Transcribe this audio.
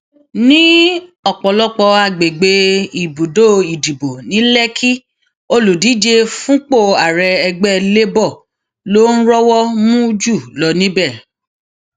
ní ọpọlọpọ àgbègbè ibùdó ìdìbò ní lèkìkì olùdíje fúnpò ààrẹ ẹgbẹ labour ló ń rọwọ mú jù lọ níbẹ